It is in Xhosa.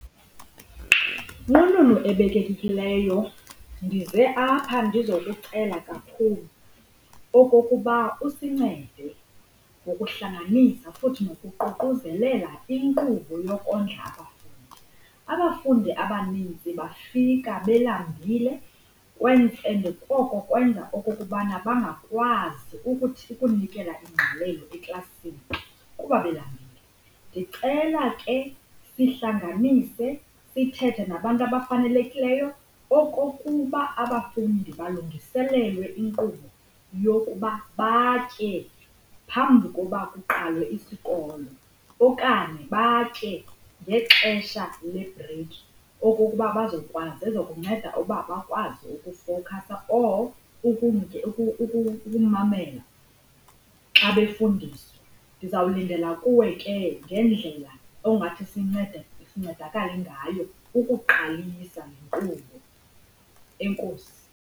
Nqununu ebekekekileyo, ndize apha ndizokucela kakhulu okokuba usincede ngokuhlanganisa futhi nokuququzelela inkqubo yokondla abafundi. Abafundi abaninzi bafika belambile and oko kwenza okokubana bangakwazi ukuthi ukunikela ingqalelo eklasini kuba belambile. Ndicela ke sihlanganise sithethe nabantu abafanelekileyo okokuba abafundi balungiselelwe inkqubo yokuba batye phambi kokuba kuqalwe isikolo, okanye batye ngexesha lebhreyikhi okukuba bazokwazi iza kukunceda uba bakwazi ukufowukhasa or ukumamela xa befundiswa. Ndizawulindela kuwe ke ngendlela ongathi sincedakale ngayo ukuqalisa le nkqubo. Enkosi.